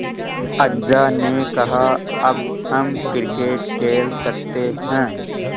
अज्जा ने कहा अब हम क्रिकेट खेल सकते हैं